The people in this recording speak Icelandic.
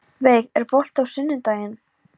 Veig, er bolti á sunnudaginn?